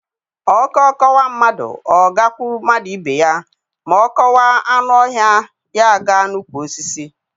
Ọkọ kọwa mmadụ, ọ gakwụ mmadụ ibe ya, ma ọ kọwa anụ ọhịa, ya aga n’ukwu Osisi